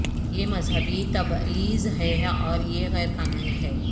یہ مذہبی تبعیض ہے اور یہ غیر قانونی ہے